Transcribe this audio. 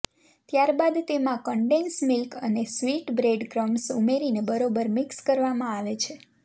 ત્યારબાદ તેમાં condense milk અને સ્વીટ બ્રેડક્રમ્સ ઉમેરીને બરોબર મિક્સ કરવામાં આવે છે